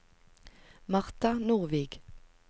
Martha Nordvik